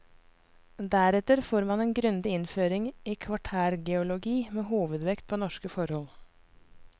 Deretter får man en grundig innføring i kvartærgeologi med hovedvekt på norske forhold.